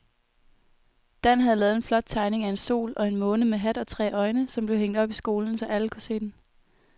Dan havde lavet en flot tegning af en sol og en måne med hat og tre øjne, som blev hængt op i skolen, så alle kunne se den.